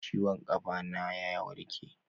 Ciwon kafa na ya warke.